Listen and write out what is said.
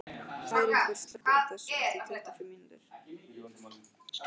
Bæringur, slökktu á þessu eftir tuttugu og fimm mínútur.